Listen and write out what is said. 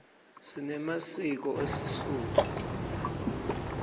sinemasiko esisotho